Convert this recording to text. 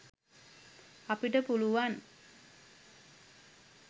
අපිට පුළුවං